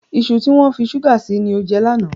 Iṣu tí wọ́n fi ṣúgà sí ni o jẹ lánàá.